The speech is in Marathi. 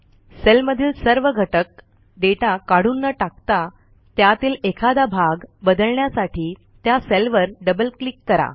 सेलमधील सर्व घटक डेटा काढून न टाकता त्यातील एखादा भाग बदलण्यासाठी त्या सेलवर डबल क्लिक करा